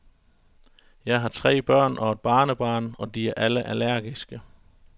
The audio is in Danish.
Jeg har tre børn og et barnebarn, og de er alle allergiske.